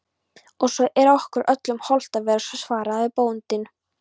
Og svo er okkur öllum hollt að vera, svaraði bóndinn.